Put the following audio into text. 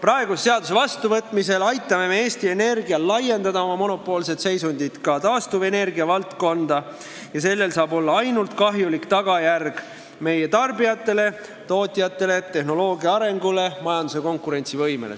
Selle seaduse vastuvõtmisel aitame me Eesti Energial laiendada oma monopoolset seisundit ka taastuvenergia valdkonda ja selle tagajärg saab olla ainult kahjulik nii meie tarbijatele, tootjatele, tehnoloogia arengule kui ka majanduse konkurentsivõimele.